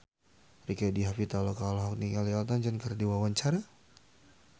Rieke Diah Pitaloka olohok ningali Elton John keur diwawancara